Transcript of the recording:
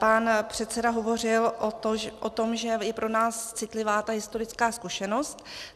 Pan předseda hovořil o tom, že je pro nás citlivá ta historická zkušenost.